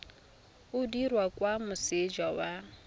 o dirwa kwa moseja wa